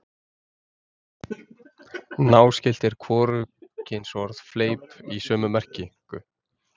Náskylt er hvorugkynsorðið fleip í sömu merkingu.